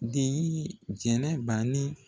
Den ye jɛnɛbanin